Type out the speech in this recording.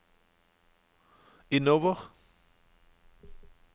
innover